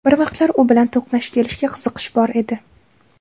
Bir vaqtlar u bilan to‘qnash kelishga qiziqish bor edi.